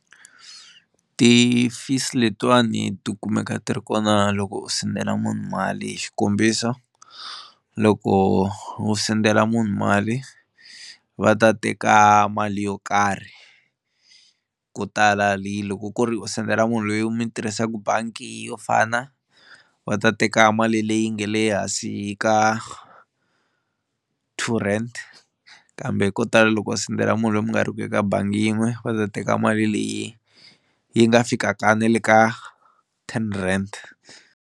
Ti-fees letiwani ti kumeka ti ri kona loko u sendela munhu mali, hi xikombiso loko u sendela munhu mali va ta teka mali yo karhi ko tala leyi loko ku ri u sendela munhu loyi mi tirhisaka bangi yo fana va ta teka mali leyi nge le hansi ka two rand kambe ko tala loko va sendela munhu loyi mi nga ri ku eka bangi yin'we va ta teka mali leyi yi nga fikaka na le ka ten rand.